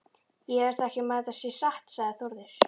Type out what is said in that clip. Ég efast ekki um að þetta sé satt, sagði Þórður.